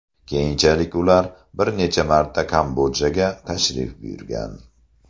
Keyinchalik ular bir necha marta Kambodjaga tashrif buyurgan.